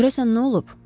Görəsən nə olub?